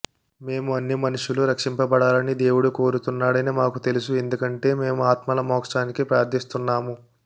మేము అన్ని మనుష్యులు రక్షింపబడాలని దేవుడు కోరుతున్నాడని మాకు తెలుసు ఎందుకంటే మేము ఆత్మల మోక్షానికి ప్రార్థిస్తున్నాము